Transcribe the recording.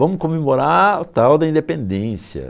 Vamos comemorar o tal da independência.